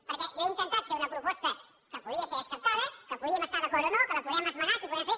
perquè jo he intentat fer una proposta que podia ser acceptada que hi podíem estar d’acord o no que la podem esmenar que hi podem fer